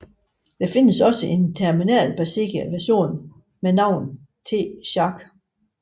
Der findes også en terminal baseret version ved navn TShark